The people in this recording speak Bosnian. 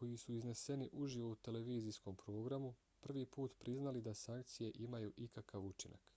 koji su izneseni uživo u televizijskom programu prvi put priznali da sankcije imaju ikakav učinak